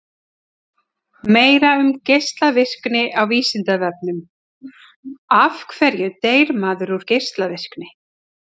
Meira um geislavirkni á Vísindavefnum: Af hverju deyr maður út af geislavirkni?